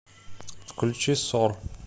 включи сор